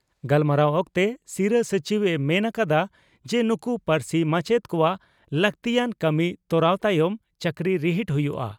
ᱜᱟᱞᱢᱟᱨᱟᱣ ᱚᱠᱛᱮ ᱥᱤᱨᱟᱹ ᱥᱚᱪᱤᱵᱽ ᱮ ᱢᱮᱱ ᱟᱠᱟᱫᱟ ᱡᱮ ᱱᱩᱠᱩ ᱯᱟᱹᱨᱥᱤ ᱢᱟᱪᱮᱛ ᱠᱚᱣᱟᱜ ᱞᱟᱹᱜᱛᱤᱭᱟᱱ ᱠᱟᱹᱢᱤ ᱛᱚᱨᱟᱣ ᱛᱟᱭᱚᱢ ᱪᱟᱹᱠᱨᱤ ᱨᱤᱦᱤᱴ ᱦᱩᱭᱩᱜᱼᱟ ᱾